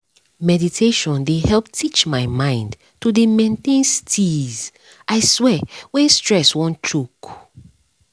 meditation dey help teach my mind to dey maintain steeze i swear when stress wan choke